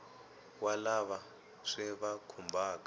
wa lava swi va khumbhaka